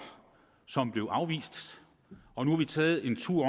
som blev afvist og nu har vi taget en tur